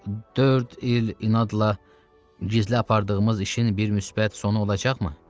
Dörd il inadla gizli apardığımız işin bir müsbət sonu olacaqmı?